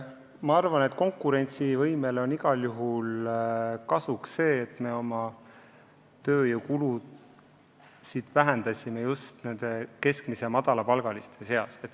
Ma arvan, et konkurentsivõimele on igal juhul kasuks see, et oma tööjõust me vähendasime just keskmise ja madala palga saajate kulusid.